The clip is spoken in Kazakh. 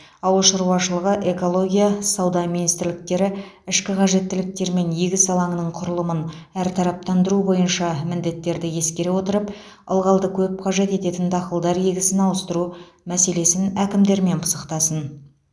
ауыл шаруашылығы экология сауда министрліктері ішкі қажеттіліктер мен егіс алаңының құрылымын әртараптандыру бойынша міндеттерді ескере отырып ылғалды көп қажет ететін дақылдар егісін ауыстыру мәселесін әкімдермен пысықтасын